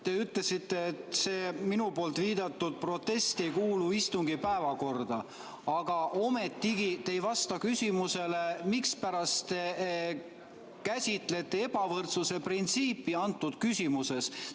Te ütlesite, et see minu viidatud protest ei kuulu istungi päevakorda, aga ometigi te ei vasta küsimusele, mispärast te käsitlete ebavõrdsuse printsiipi antud küsimuses.